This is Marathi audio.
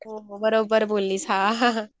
हो हो बरोबर बोललीस हां